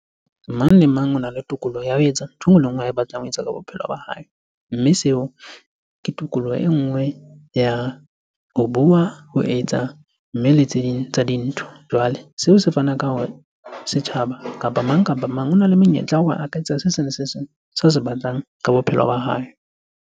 Mang le mang ona le tokoloho ya ho etsa ntho e nngwe le e nngwe ae batlang ho etsa ka bophelo ba hae. Mme seo, ke tokoloho e nngwe ya ho bua, ho etsa, mme le tse ding tsa dintho. Jwale seo se fana ka hore setjhaba kapa mang kapa mang, ona le monyetla wa hore a ka etsa se seng le se seng sa se batlang ka bophelo ba hae.